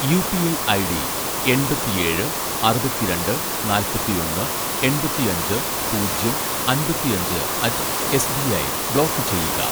UPI ID എണ്‍പത്തിഏഴ് അറുപത്തിരണ്ട് നാല്‍പത്തിഒന്ന് എണ്‍പത്തിഅഞ്ച് പൂജ്യം അമ്പത്തിഅഞ്ച് at S B I block ചെയ്യുക